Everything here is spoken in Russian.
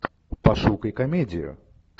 пошукай комедию